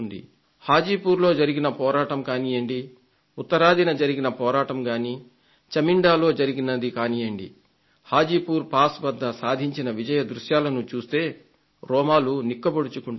హాజీపూర్లో జరిగిన పోరాటం కానీయండి ఉత్తరాదిన జరిగిన పోరాటం గానీ చమిండాలో జరిగినది కానీయండీ హాజీపూర్ పాస్ వద్ద సాధించిన విజయ దృశ్యాలను చూస్తే రోమాలు నిక్కబొడుచుకుంటాయి